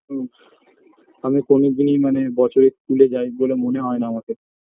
হুম আমি কোনোদিন মানে বছরে school -এ যাই বলে মনে হয়না আমাকে